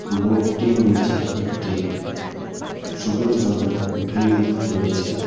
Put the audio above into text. বোর্ডটির নিচে একটি সবুজ রঙের গ্রিল রয়েছে।